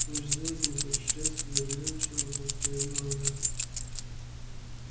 межзвёздные путешествия задумчиво повторила она